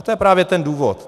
A to je právě ten důvod.